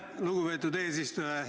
Lugupeetud eesistuja!